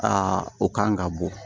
Aa o kan ka bɔ